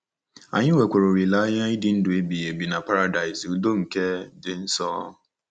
Anyị nwekwara olileanya ịdị ndụ ebighị ebi na Paradaịs udo nke dị nso.